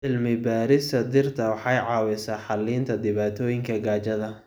Cilmi-baarista dhirta waxay caawisaa xallinta dhibaatooyinka gaajada.